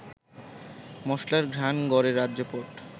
মশলার ঘ্রাণ গড়ে রাজ্যপাট